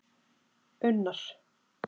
Unnar